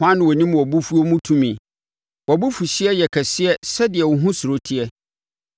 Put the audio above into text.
Hwan na ɔnim wʼabofuo mu tumi? Wʼabofuhyeɛ yɛ kɛseɛ sɛdeɛ wo ho suro teɛ.